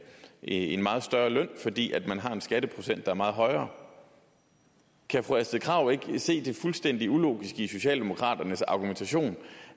en meget højere løn fordi skatteprocenten er meget højere kan fru astrid krag ikke se det fuldstændig ulogiske i socialdemokraternes argumentation